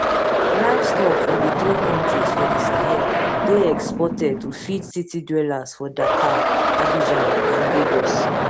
livestock from di three kontris for di sahel dey exported to feed city dwellers for dakar abidjan and lagos